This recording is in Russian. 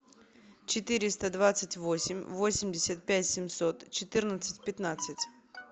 четыреста двадцать восемь восемьдесят пять семьсот четырнадцать пятнадцать